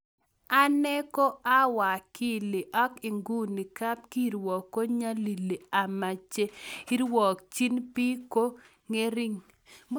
Ane ko awakili ak nguni kapkiruok kunyalili ama che irwakchin bik ko ng'ering'